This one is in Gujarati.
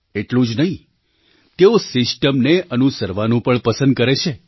એટલું જ નહીં તેઓ સિસ્ટમને અનુસરવાનું પણ પસંદ કરે છે